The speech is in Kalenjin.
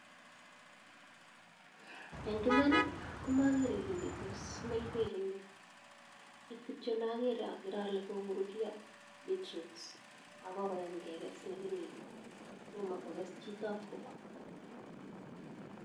En iman komakere kit netos mil piki n yu kit kitcho nakere akere ale kokururyo beetroots akokoyam kekes lakini tomo kokes chotap kopa .